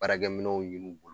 Baarakɛminɛnw ye n'u bol